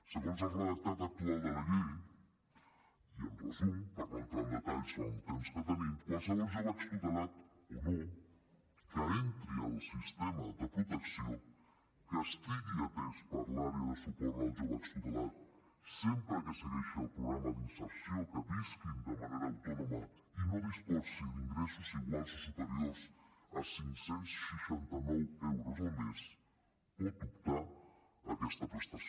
segons el redactat actual de la llei i en resum per no entrar en detalls en el temps que tenim qualsevol jove extutelat o no que entri al sistema de protecció que estigui atès per l’àrea de suport als joves extutelats sempre que segueixi el programa d’inserció que visqui de manera autònoma i no disposi d’ingressos iguals o superiors a cinc cents i seixanta nou euros al mes pot optar a aquesta prestació